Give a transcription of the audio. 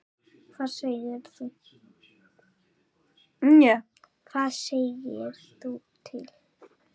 Hvað segirðu til?